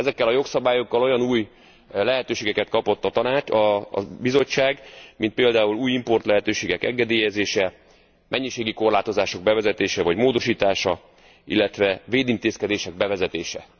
Ezekkel a jogszabályokkal olyan új lehetőségeket kapott a Bizottság, mint például új importlehetőségek engedélyezése, mennyiségi korlátozások bevezetése vagy módosítása, illetve védintézkedések bevezetése.